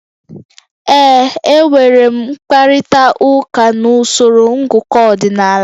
Ee. Enwere m mkparịta ụka na usoro ngụkọ ọdịnala